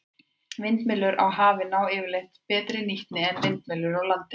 Vindmyllur á hafi ná yfirleitt betri nýtni en vindmyllur á landi.